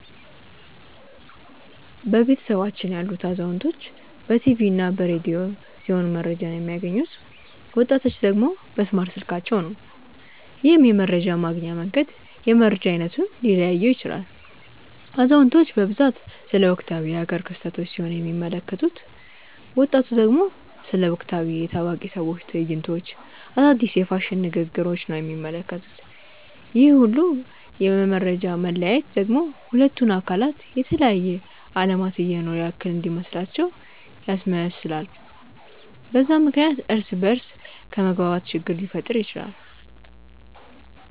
በቤተሰባችን ያሉት አዛውንቶች በ ቲቪ እና በ ረዲዮ ሲሆም መረጃቸውን የሚያገኙት፤ ወጣቲቹ ደግሞ በእስማርት ስልካቸው ነው። ይህም የመረጃ ማግኛ መንገድ የመረጃ አይነቱን ሊለያየው ይችላል። አዛውንቲቹ በብዛት ስለ ወቅታዊ የ ሃገር ክስተቶች ሲሆን የሚመለከቱት፤ ወጣቱ ደግሞ ስለ ወቅታዊ የ ታዋቂ ሰዎች ትዕይንቶች፣ አዳዲስ የ ፋሽን ንግግሪች ነው የሚመለከቱት፤ ይህ ሁላ የ መፈጃ መለያየት ደግሞ ሁለቱን አካላት የተለያየ አለማት እየኖሩ ያክል እንዲመስላቸው ያስመስላል፤ በዛም ምክንያት እርስ በ እርስ ከመግባባት ችግር ሊፈጠር ይችላል።